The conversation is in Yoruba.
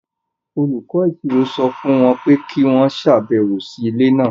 Olùkọ́ Ìṣirò sọ fún wọn pé kí wọ́n ṣàbẹ̀wò sí ilé náà.